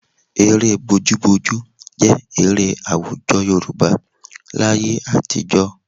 Eré bojúbojú jẹ́ eré àwùjọ Yorùbá láyé àtijọ́